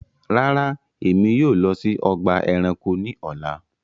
Ràrá, ẹ̀mi yóò lọ sí ọgba ẹ̀ránkò ní ọ̀là